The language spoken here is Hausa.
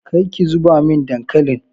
Kar ki zuba min dankalin!